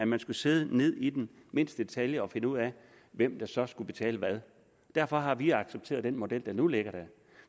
man skulle sidde og ned i mindste detalje finde ud af hvem der så skulle betale hvad derfor har vi accepteret den model der nu ligger der